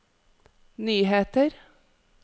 nyheter